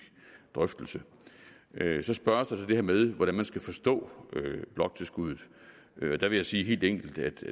drøftelse så spørges der til det her med hvordan man skal forstå bloktilskuddet der vil jeg sige helt enkelt